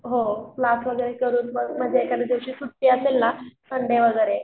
हो क्लास वगैरे करून म्हणजे एखाद्या दिवशी सुट्टी असेल ना संडे वगैरे.